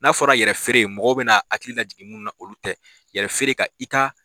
N'a fɔra yɛrɛ feere mɔgɔ bɛ na hakili la jigi munnu na olu tɛ, yɛrɛ feere ka i ka.